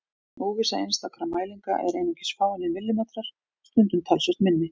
Óvissa einstakra mælinga er einungis fáeinir millimetrar, stundum talsvert minni.